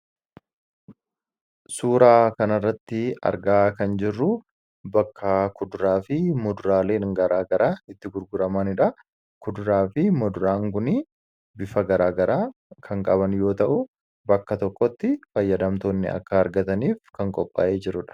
Suuraa kanarratti argaa kan jirru bakka kuduraa fi muduraaleen garaagaraa itti gurguramanidha. Kuduraa fi muduraan kun bifa garaagaraa kan qaban yoo ta'u, bakka tokkotti fayyadamtoonni akka argataniif kan qophaayee jirudha.